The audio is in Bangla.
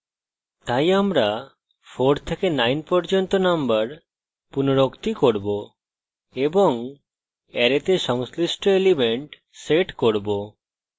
তাই আমরা 4 থেকে 9 পর্যন্ত নম্বর পুনরুক্তি করব এবং অ্যারেতে সংশ্লিষ্ট element set করব